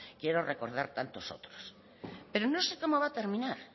quiero recordar tantos otros pero no sé cómo va a terminar